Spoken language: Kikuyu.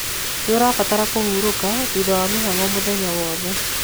Nĩũrabatara kũhũrũka thutha wa mĩhang'o mũthenya wothe